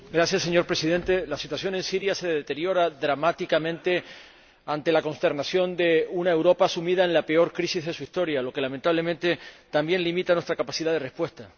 Señor Presidente, la situación en Siria se deteriora dramáticamente ante la consternación de una Europa sumida en la peor crisis de su historia, lo que, lamentablemente, también limita nuestra capacidad de respuesta.